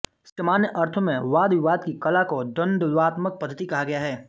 सामान्य अर्थों में वादविवाद की कला को द्वंद्वात्मक पद्धति कहा गया है